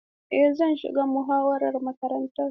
Eh, zan shiga muhawarar makarantar.